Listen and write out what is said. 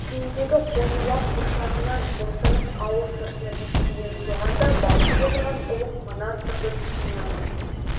көгендегі қозы-лақ бұршағынан босанып ауыл сыртына беттеген соған да балқып отырған ұлық мына сырды түсіне алмай